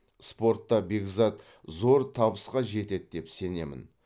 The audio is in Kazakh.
спортта бекзат зор табысқа жетеді деп сенемін